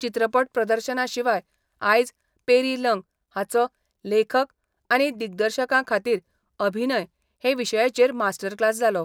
चित्रपट प्रदर्शना शिवाय आयज पेरी लंग हाचो लेखक आनी दिग्दर्शकां खातीर अभिनय हे विशयाचेर मास्टर क्लास जालो.